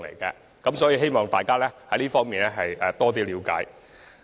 就此，希望大家能了解箇中情況。